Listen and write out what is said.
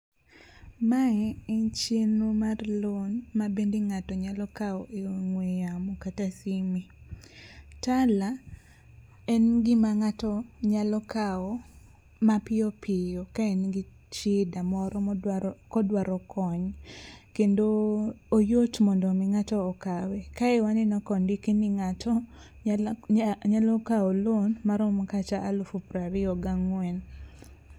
Mae en chenro mar loan mabende ng'ato nyalo kawo e ong'we yamo kata sime. Tala en gima ng'ato nyalo kawo mapiyopiyo ka en gi shida moro kodwaro kony, kendo oyot mondo omi ng'ato okawe, kae waneno kondik ni ng'ato nyalo kawo loan maromo kata alufu prariyo gang'wen.